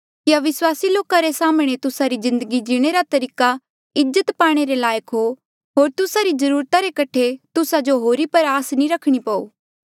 कि अविस्वासी लोका रे साम्हणें तुस्सा री जिन्दगी जीणे रा तरीका इज्जत पाणे रे लायक हो होर तुस्सा री जरूरता रे कठे तुस्सा जो होरी पर आस नी रखणी पो